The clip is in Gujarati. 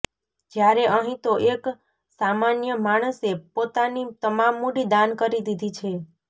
જ્યારે અહીં તો એક સામાન્ય માણસે પોતાની તમામ મૂડી દાન કરી દીધી છે